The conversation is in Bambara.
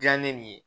Dila ne ni ye